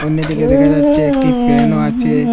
অন্যদিকে দেখা যাচ্ছে একটি ফ্যানও আছে।